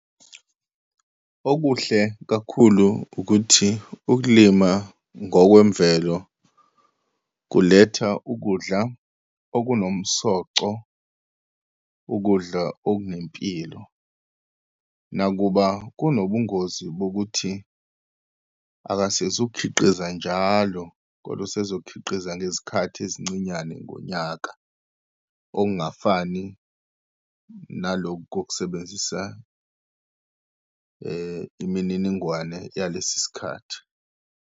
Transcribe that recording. Okuhle kakhulu ukuthi, ukulima ngokwemvelo kuletha ukudla okunomsoco, ukudla okunempilo. Nakuba kunobungozi bokuthi akasezukhiqiza njalo kodwa usezokhiqiza ngezikhathi ezincinyane ngonyaka, okungafani nalokhu kokusebenzisa imininingwane yalesi isikhathi.